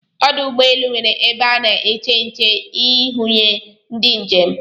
Ọdụ ụgbọelụ nwere ebe ana èché ǹché ihuenyo ndị njem